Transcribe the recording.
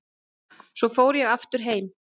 Svo fór ég aftur heim.